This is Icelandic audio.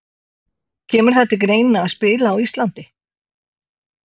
Kemur það til greina að spila á Íslandi?